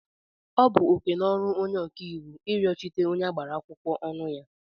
Ọ bụ oke na ọrụ onye ọkàiwu iriọchitere onye agbara akwụkwọ ọnụ ya.